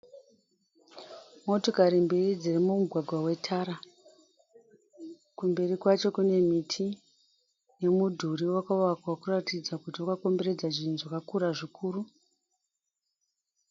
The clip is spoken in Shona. Motikari mbiri dziri mumugwaga wetara. Kumberi kwacho kune miti nemudhuri wakavakwa ukuratidza kuti wakakomberedza zvinhu zvakakura zvikuru.